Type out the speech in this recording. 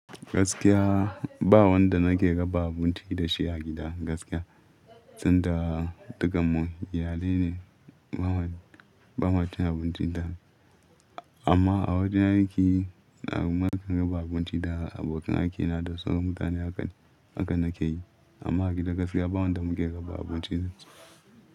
Gaskiya ba wanda nake raba abinci da shi a gida gaskiya, sanda daga mu iyalai ne bamu, bamacin abinci daya amma a wajen aiki na kuma kan raba abinci da abokan aikina da sauran mutane haka, hakan nake yi. Amma a gida gaskiya ba wanda muke raba abinci da.